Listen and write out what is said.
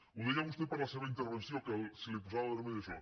ho deia vostè per la seva intervenció que se li posava vermell això